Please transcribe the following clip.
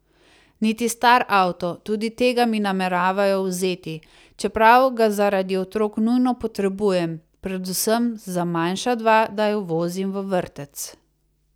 Niti star avto, tudi tega mi nameravajo vzeti, čeprav ga zaradi otrok nujno potrebujem, predvsem za manjša dva, da ju vozim v vrtec.